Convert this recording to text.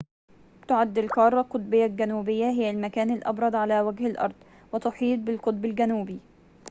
تعد القارة القطبية الجنوبية هي المكان الأبرد على وجه الأرض وتحيط بالقطب الجنوبي